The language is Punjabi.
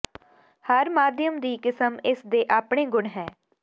ਹਰ ਮਾਧਿਅਮ ਦੀ ਕਿਸਮ ਇਸ ਦੇ ਆਪਣੇ ਗੁਣ ਹੈ